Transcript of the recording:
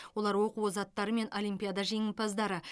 олар оқу озаттары мен олимпиада жеңімпаздары